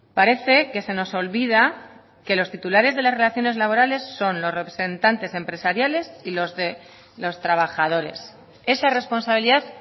parece que se nos olvida que los titulares de las relaciones laborales son los representantes empresariales y los de los trabajadores esa responsabilidad